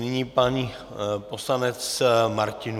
Nyní pan poslanec Martinů.